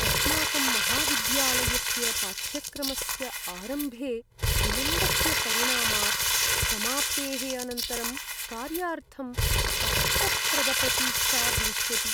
अस्माकं महाविद्यालयस्य पाठ्यक्रमस्य आरम्भे विलम्बस्य परिणामात् समाप्तेः अनन्तरं कार्यार्थं कष्टप्रदप्रतीक्षा भविष्यति।